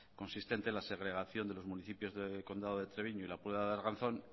consistente en la segregación de los municipios del condado de treviño y la puebla de arganzón